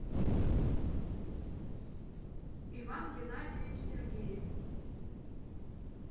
иван геннадьевич сергеев